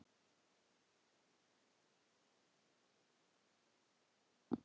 En hjartað barðist ákaft í brjósti hans þegar hann hringdi dyrabjöllunni.